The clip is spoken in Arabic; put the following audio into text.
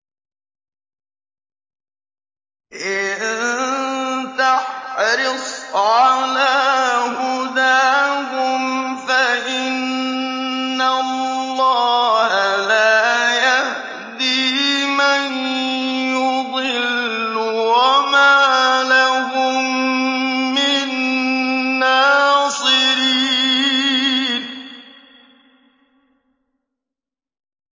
إِن تَحْرِصْ عَلَىٰ هُدَاهُمْ فَإِنَّ اللَّهَ لَا يَهْدِي مَن يُضِلُّ ۖ وَمَا لَهُم مِّن نَّاصِرِينَ